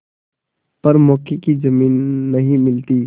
पर मौके की जमीन नहीं मिलती